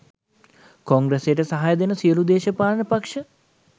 කොංග්‍රසයට සහය දෙන සියලු දේශපාලන පක්ෂ